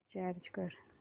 recharge कर